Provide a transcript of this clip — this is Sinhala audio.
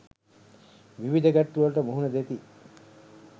විවිධ ගැටලු වලට මුහුණ දෙති.